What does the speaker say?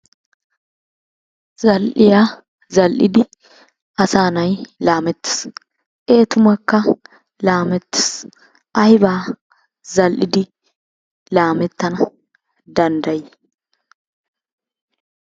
Zal"iyaa zal"idi asaanay laamettes. Ee tumakka laamettes. Aybaa zal"idi laamettana danddayi?